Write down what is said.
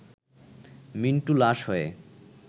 মিন্টু লাশ হয়ে